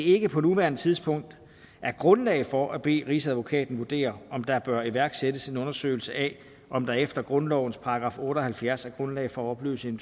ikke på nuværende tidspunkt er grundlag for at bede rigsadvokaten vurdere om der bør iværksættes en undersøgelse af om der efter grundlovens § otte og halvfjerds er grundlag for at opløse en